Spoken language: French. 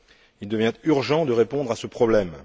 Il devient urgent de répondre à ce problème.